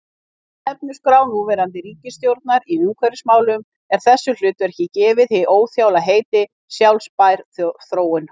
Í stefnuskrá núverandi ríkisstjórnar í umhverfismálum er þessu hlutverki gefið hið óþjála heiti: sjálfbær þróun.